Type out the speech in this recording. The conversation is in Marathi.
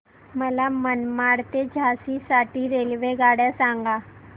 मला मनमाड ते झाशी साठी रेल्वेगाड्या सांगा